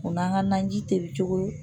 O n'an ka naji tobi cogo